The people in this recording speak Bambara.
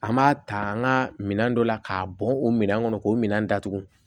An b'a ta an ka minɛn dɔ la k'a bɔn o minɛn kɔnɔ k'o minɛn datugu